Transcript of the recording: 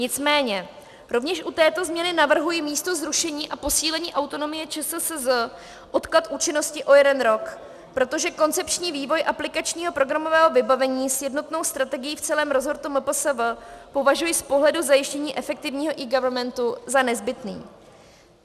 Nicméně rovněž u této změny navrhuji místo zrušení a posílení autonomie ČSSZ odklad účinnosti o jeden rok, protože koncepční vývoj aplikačního programového vybavení s jednotnou strategií v celém resortu MPSV považuji z pohledu zajištění efektivního eGovernmentu za nezbytné.